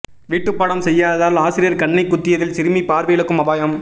வீட்டுப்பாடம் செய்யாததால் ஆசிரியர் கண்ணை குத்தியதில் சிறுமி பார்வை இழக்கும் அபாயம்